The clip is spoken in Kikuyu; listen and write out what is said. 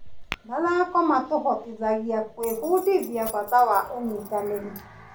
Mathako matũhotithagia gwĩbundithia bata wa ũnyitanĩri.